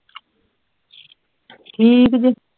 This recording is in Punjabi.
ਠੀਕ ਜੇ